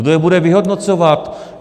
Kdo je bude vyhodnocovat?